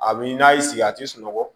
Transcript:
A bi n'a y'i sigi a ti sunɔgɔ